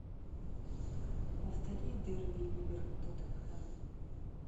повтори дерби ливер тоттенхэм